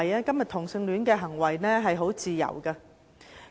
今天，同性戀行為是自由的。